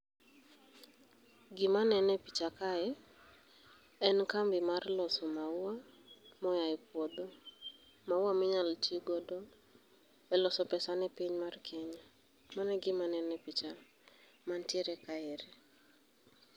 Gima neno e picha kae en kambi mar loso maua moyaye puodho, maua minyalo tii godo e loso pesa ne piny mar Kenya. Mane gima nene pichani mantiere kaeri.